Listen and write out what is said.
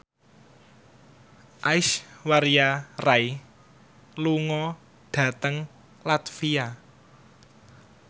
Aishwarya Rai lunga dhateng latvia